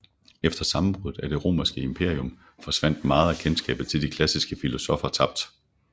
Efter sammenbruddet af det romerske imperium forsvandt meget af kendskabet til de klassiske filosoffer tabt